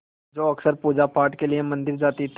जो अक्सर पूजापाठ के लिए मंदिर जाती थीं